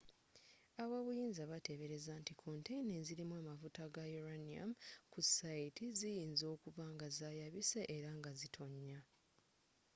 ab'obuyinza bateebereza nti konteyina ezirimu amafuta ga uranium ku sayiti ziyinza okuba nga zayabise era nga zitonya